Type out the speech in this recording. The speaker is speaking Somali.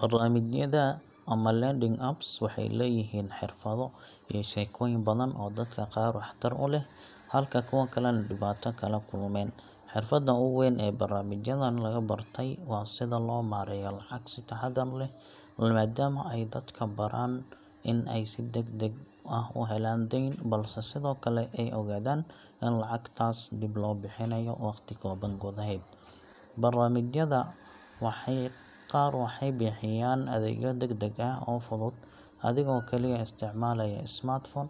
Barnaamijyada ama lending apps waxay leeyihiin xirfado iyo sheekooyin badan oo dadka qaar waxtar u leh, halka kuwa kalena dhibaato kala kulmeen. Xirfadda ugu weyn ee barnaamijyadan laga bartay waa sida loo maareeyo lacag si taxadar leh, maadaama ay dadka baraan in ay si degdeg ah u helaan deyn, balse sidoo kale ay ogaadaan in lacagtaas dib loo bixinayo waqti kooban gudaheed. Barnaamijyada qaar waxay bixiyaan adeegyo degdeg ah oo fudud, adigoo kaliya isticmaalaya smartphone,